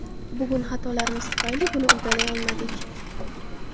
Bugun xatolarimiz tufayli buni uddalay olmadik.